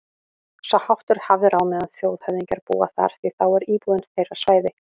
Sá háttur er hafður á meðan þjóðhöfðingjar búa þar, því þá er íbúðin þeirra svæði